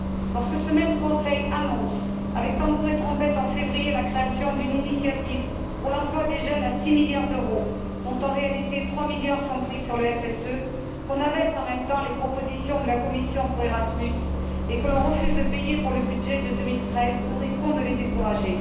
Lorsque ce même Conseil annonce, avec tambours et trompettes, en février, la création d'une initiative pour l'emploi des jeunes à 6 milliards d'euros, dont en réalité, 3 milliards sont pris sur le FSE, qu'on abaisse en même temps les propositions de la Commission pour Erasmus et qu'on refuse de payer pour le budget de 2013, nous risquons de les décourager.